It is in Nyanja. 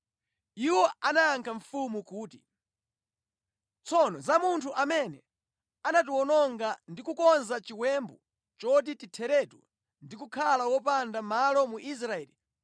Iwo anayankha mfumu kuti, “Tsono za munthu amene anatiwononga ndi kukonza chiwembu choti titheretu ndi kukhala wopanda malo mu Israeli,